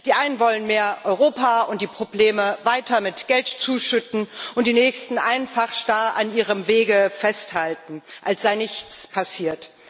Die einen wollen mehr Europa und die Probleme weiter mit Geld zuschütten und die nächsten einfach starr an ihrem Wege festhalten, als sei nichts passiert.